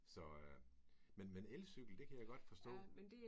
Så men men elcykel det kan jeg godt forstå